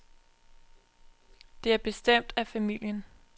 Det er bestemt af familien.